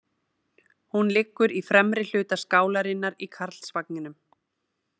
Hún liggur í fremri hluta skálarinnar í Karlsvagninum.